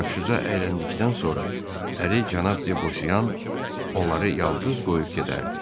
Yaxşıca əyləndikdən sonra əri cənab Debosyan onları yalqız qoyub gedərdi.